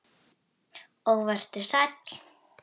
Tökum þá svo í nefið!